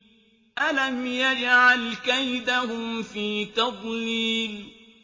أَلَمْ يَجْعَلْ كَيْدَهُمْ فِي تَضْلِيلٍ